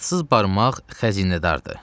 Atsız barmaq xəzinədardır.